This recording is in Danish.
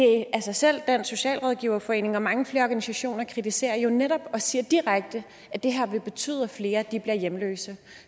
selv dansk socialrådgiverforening og mange flere organisationer kritiserer jo netop og siger direkte at det her vil betyde at flere bliver hjemløse